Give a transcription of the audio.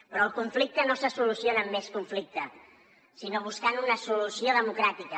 però el conflicte no se soluciona amb més conflicte sinó buscant una solució democràtica